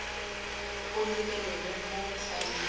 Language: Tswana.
o lebelelwe mo faeleng e